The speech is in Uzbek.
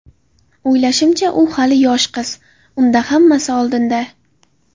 O‘ylashimcha, u hali yosh qiz, unda hammasi oldinda.